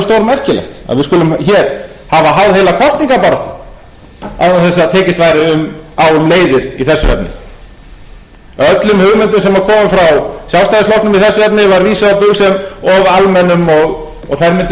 stórmerkilegt að við skulum hér hafa háð heila kosningabaráttu án þess að tekist væri á um leiðir í þessum efnum að öllum hugmyndum sem koma frá sjálfstæðisflokknum í þessu efni var vísað á bug sem of almennum og þær mundu lenda